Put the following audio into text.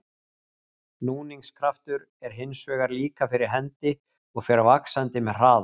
Núningskraftur er hins vegar líka fyrir hendi og fer vaxandi með hraða.